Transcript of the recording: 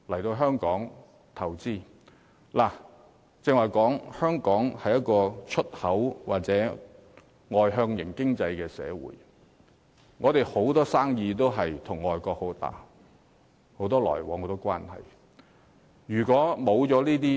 正如剛才所說，香港是一個以出口為主的外向型經濟社會，跟海外有龐大的生意往來和關係。